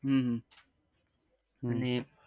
હમ અને